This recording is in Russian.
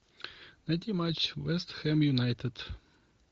найди матч вест хэм юнайтед